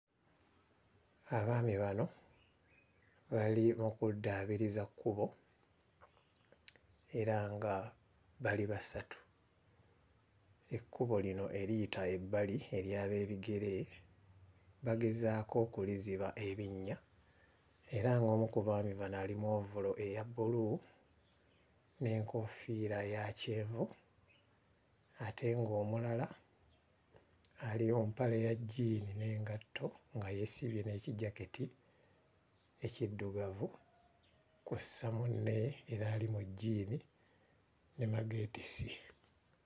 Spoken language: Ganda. Abaami bano bali mu kuddaabiriza kkubo era nga bali basatu. Ekkubo lino eriyita ebbali ery'abeebigere bagezaako okuliziba ebinnya era ng'omu ku baami bano ali mu ovulo eya bbulu n'enkoofiira eya kyenvu ate ng'omulala ali mu mpale ya jjiini n'engato, nga yeesibye n'ekijaketi ekiddugavu kw'osa munne era ali mu jjiini ne magetisi.